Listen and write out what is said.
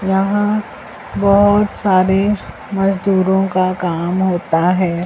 यहां बहोत सारे मजदूरों का काम होता है।